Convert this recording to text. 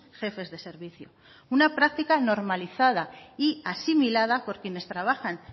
jefes de servicio una práctica normalizada y asimilada por quienes trabajan